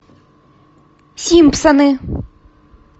симпсоны